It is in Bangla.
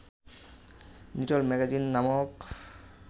লিটল ম্যাগাজিন নামক